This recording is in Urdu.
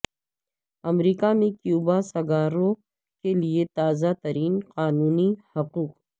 امریکہ میں کیوبا سگاروں کے لئے تازہ ترین قانونی حقوق